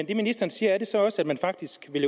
det ministeren siger så også at man faktisk vil